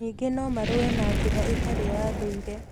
Ningĩ no marũe na njĩra ĩtarĩ ya ndũire.